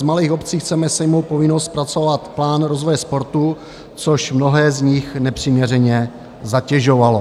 Z malých obcí chceme sejmout povinnost zpracovat plán rozvoje sportu, což mnohé z nich nepřiměřeně zatěžovalo.